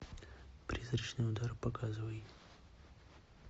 призрачный удар показывай